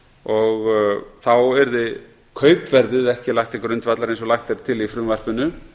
og þá yrði kaupverðið ekki lagt til grundvallar eins og lagt er til í frumvarpinu